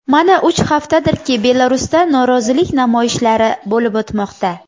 Mana uch haftadirki Belarusda norozilik namoyishlari bo‘lib o‘tmoqda.